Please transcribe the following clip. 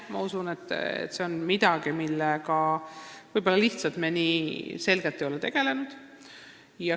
Ma usun, et see on midagi, millega me ei ole veel nii selgelt tegelenud.